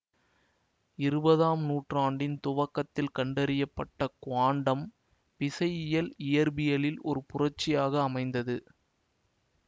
இருவதாம் நூற்றாண்டின் துவக்கத்தில் கண்டறிய பட்ட குவாண்டம் விசையியல் இயற்பியலில் ஓர் புரட்சியாக அமைந்தது